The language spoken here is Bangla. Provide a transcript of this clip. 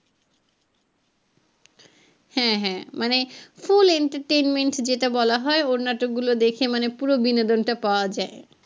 হ্যাঁ হ্যাঁ মানে full entertainment যেটা বলা হয় ওর নাটক গুলো দেখে মানে পুরো বিনোদন টা পাওয়া যায়।